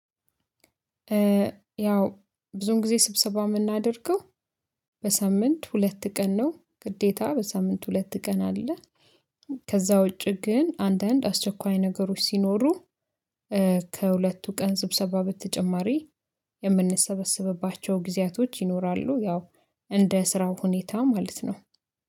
ያው ብዙን ጊዜ ስብሰባ የምናደርገው በሳምንት ሁለት ቀን ነው ግዴታ በሳምንት ሁለት ቀን አለ። ከዛ ውጪ ግን አንዳንድ አስቸኳይ ነገሮች ሲኖሩ። ከሁለቱ ቀን ስብሰባ በተጨማሪ የምንሰበሰብባቸው ጊዜያቶች ይኖራሉ። ያው እንደ ስራው ሁኔታ ማለት ነው።